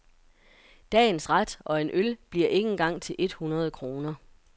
Dagens ret og en øl bliver ikke engang til et hundrede kroner.